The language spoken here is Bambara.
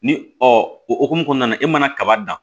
Ni o hokumu kɔnɔna na e mana kaba dan